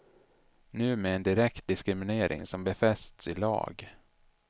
Nu med en direkt diskriminering som befästs i lag.